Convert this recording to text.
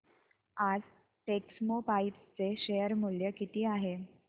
आज टेक्स्मोपाइप्स चे शेअर मूल्य किती आहे